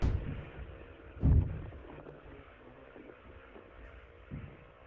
салют что такое оборотные активы